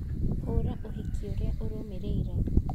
hũra ũhiki ũrĩa ũrũmĩrĩire